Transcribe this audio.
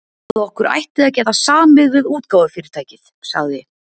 Ég held, að okkur ætti að geta samið við útgáfufyrirtækið sagði